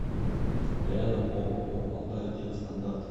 рядом ооо алтай техстандарт